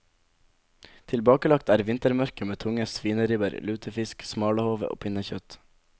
Tilbakelagt er vintermørket med tunge svineribber, lutefisk, smalahove og pinnekjøtt.